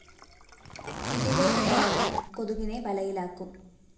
ഇതിലെ ഉപകരണം കൊതുകിനെ വലയിലാക്കും